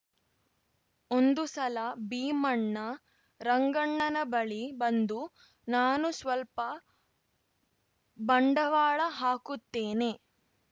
ಒಂದು ಸಲ ಭೀಮಣ್ಣ ರಂಗಣ್ಣನ ಬಳಿ ಬಂದು ನಾನೂ ಸ್ವಲ್ಪ ಬಂಡವಾಳ ಹಾಕುತ್ತೇನೆ